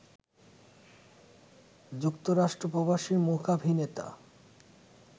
যুক্তরাষ্ট্র প্রবাসী মূকাভিনেতা